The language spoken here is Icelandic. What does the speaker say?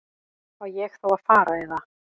Á ég þá að fara. eða?